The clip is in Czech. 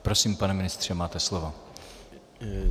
Prosím, pane ministře, máte slovo.